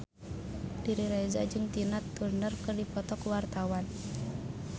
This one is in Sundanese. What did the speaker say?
Riri Reza jeung Tina Turner keur dipoto ku wartawan